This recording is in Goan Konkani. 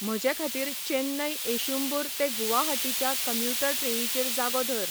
म्हजेखातीर चेन्नई एषुंबूर ते गुवाहाटीच्या कम्युटर ट्रेनीचेर जागो धर